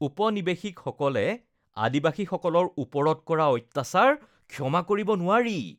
উপনিবেশিকসকলে আদিবাসীসকলৰ ওপৰত কৰা অত্যাচাৰ ক্ষমা কৰিব নোৱাৰি।